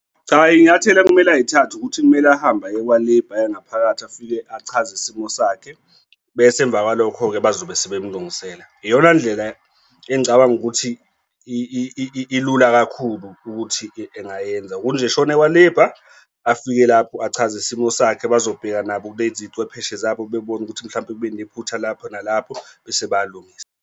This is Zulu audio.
Cha, iy'nyathelo okumele ay'thathe ukuthi kumele ahambe aye kwa-Labour aye ngaphakathi afike achaze isimo sakhe, bese emva kwalokho-ke bazobe sebemlungisela iyona ndlela engicabanga ukuthi ilula kakhulu ukuthi engayenza ukuthi nje ashone kwa-Labour afike lapho achaze isimo sakhe bazobheka nabo kulezi cwepheshe zabo bebone ukuthi mhlawumbe kube nephutha lapho nalapho bese bayalungisa.